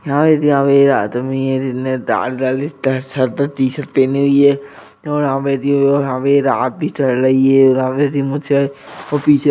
आदमी है जिसने लाल कलर की शर्ट --